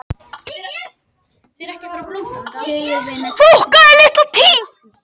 Íris Mist og Dýri fimleikafólk ársins